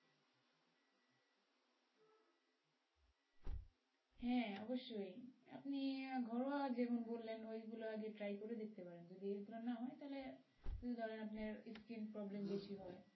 হ্যাঁ অবশ্যই আপনি ঘরোয়া যেমন বললেন ওইগুলো আগে try করে দেখতে পারেন যদি উপকার না হয় তাহলে ধরেন আপনার স্কিন problem বেশি হয়,